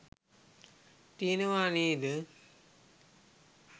තියෙනවා නේද?